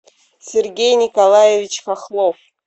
сергей николаевич хохлов